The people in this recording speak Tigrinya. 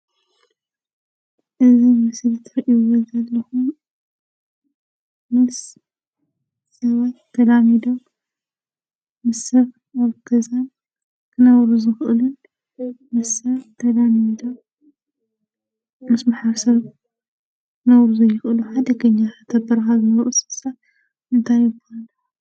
እዝ ምስለ ትርኢ በልዘልለኹም ም ሰብት ተላሚዶ ምስፍ ወርተዛም ኽነውርዝቕሉን ምስፍ ተላሜኒደ ምስሓሰ ነዉርዙ ይቕሉ ሓደገኛ ተበርሃዘ ምውርስምሳ እታ ይይበለ።